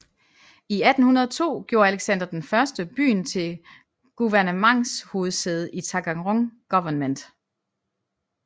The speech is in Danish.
I 1802 gjorde Alexander I byen til guvernements hovedsæde i Taganrog guvernement